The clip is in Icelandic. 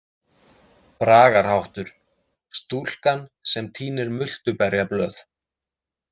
Bragarháttur: „Stúlkan sem tínir multuberjablöð“.